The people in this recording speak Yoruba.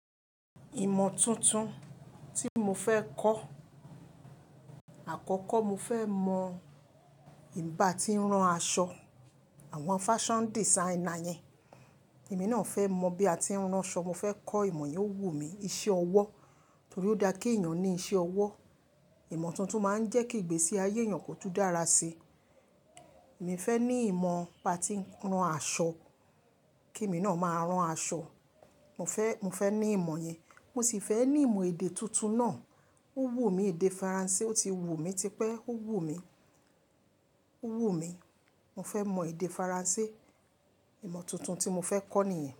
Ìmọ̀ tuntun tí mo fẹ́ kọ́, àkọ́kọ́ mo fẹ́ mọ bà tí ń rán aṣọ, àwọn fashion designer yẹn. Èmi náà fẹ́ mọ bí a ti ń rán'ṣọ. Mo fẹ́ kọ́ ìmọ̀ yẹn, ó wù mí iṣẹ́ ọwọ́ torí ó dá kí èèyàn ní iṣẹ́ ọwọ́. Ìmọ̀ tuntun máa ń jẹ́ kí ìgbésí ayé èèyàn kò tún dára sí. Èmi fẹ́ ní ìmọ̀ pá tí ń rán aṣọ kí èmi náà máa rán aṣọ. Mo fẹ́, mo fẹ́ ní ìmọ̀ yẹn. Mo sì fẹ́ ní ìmọ̀ èdè tuntun náà. Ó wù mí èdè Faransé, ó ti wù mí tipẹ́, ó wù mí, ó wù mí. Mo fẹ́ mọ èdè Faransé. Ìmọ̀ tuntun tí mo fẹ́ kọ́ nìyẹn.